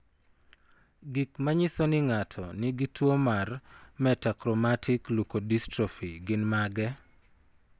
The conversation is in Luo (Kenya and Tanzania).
Gik manyiso ni ng'ato nigi tuwo mar Metachromatic leukodystrophy gin mage?